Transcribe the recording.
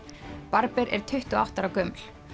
barber er tuttugu og átta ára gömul